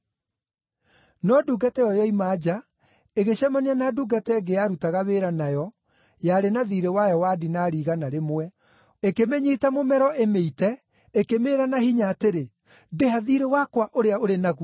“No ndungata ĩyo yoima nja, ĩgĩcemania na ndungata ĩngĩ yarutaga wĩra nayo yarĩ na thiirĩ wayo wa dinari igana rĩmwe. Ĩkĩmĩnyiita mũmero ĩmĩite, ĩkĩmĩĩra na hinya atĩrĩ, ‘Ndĩha thiirĩ wakwa ũrĩa ũrĩ naguo!’